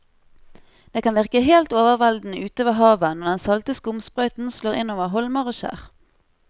Det kan virke helt overveldende ute ved havet når den salte skumsprøyten slår innover holmer og skjær.